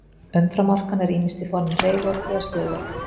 Umframorkan er ýmist á formi hreyfiorku eða stöðuorku.